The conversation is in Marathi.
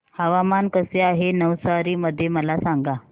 हवामान कसे आहे नवसारी मध्ये मला सांगा